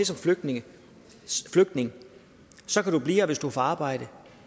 som flygtning flygtning så kan du blive her hvis du får arbejde